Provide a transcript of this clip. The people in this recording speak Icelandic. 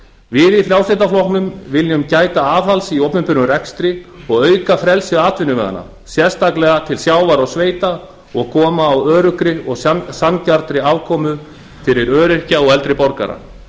við í frjálslynda flokknum viljum gæta aðhalds í opinberum rekstri og auka frelsi atvinnuveganna sérstaklega til sjávar og sveita og koma á öruggri og sanngjarnri afkomu fyrir öryrkja og eldri borgara